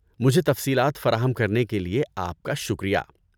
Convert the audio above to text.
مجھے تفصیلات فراہم کرنے کے لیے آپ کا شکریہ۔